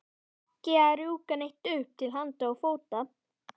Ekki að rjúka neitt upp til handa og fóta.